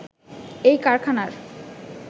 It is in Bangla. এই কারখানার